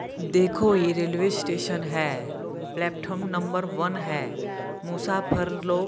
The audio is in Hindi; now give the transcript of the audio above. देखो ये रेलवे स्टेशन है प्लैटफ्रोम नंबर वन है मूसा फरलो--